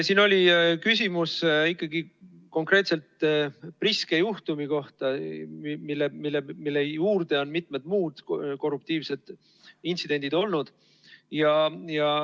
Siin oli küsimus konkreetselt Priske juhtumi kohta, millele on juurde tulnud mitmed muud korruptiivsed intsidendid.